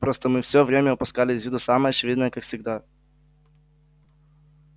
просто мы всё время упускали из виду самое очевидное как всегда